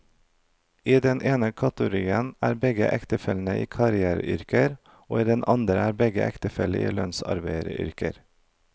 I den ene kategorien er begge ektefellene i karriereyrker, og i den andre er begge ektefellene i lønnsarbeideryrker.